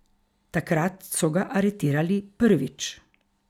Takrat so ga aretirali prvič.